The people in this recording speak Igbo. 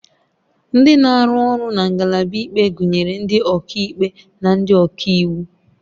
Ndị na-arụ ọrụ na ngalaba ikpe gụnyere ndị ọkaikpe na ndị ọka iwu